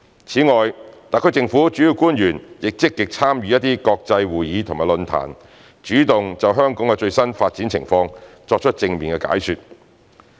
此外，特區政府主要官員亦積極參與一些國際會議及論壇，主動就香港最新的發展情況作出正面解說。